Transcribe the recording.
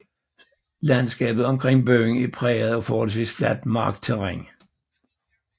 Landskabet omkring byen er præget af forholdvis fladt markterræn